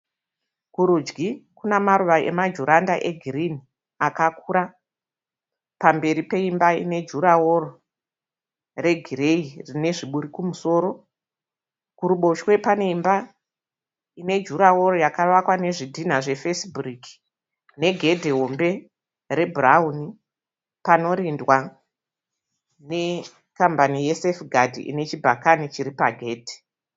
Kurudyi kune maruva emajuranda egirinhi akakura. Pamberi peimba ine jurahoro regireyi rine zviburi kumusoro. Kuruboshwe kwemba kune jurahoro yakavakwa nezvidhinha zvefesi bhiriki negedhe hombe rwebhurawuni, panorindwa nekambani yesefigadhi ine chikwangwani chiri pagedhe.